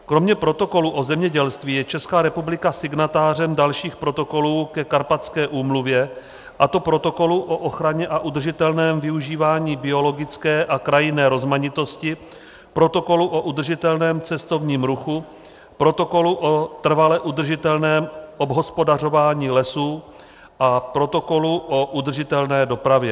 Kromě protokolu o zemědělství je Česká republika signatářem dalších protokolů ke Karpatské úmluvě, a to Protokolu o ochraně a udržitelném využíváním biologické a krajinné rozmanitosti, Protokolu o udržitelném cestovním ruchu, Protokolu o trvale udržitelném obhospodařování lesů a Protokolu o udržitelné dopravě.